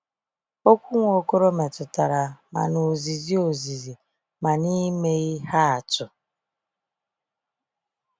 Okwu Nwaokolo metụtara ma n’ozizi ozizi ma n’ime ihe atụ.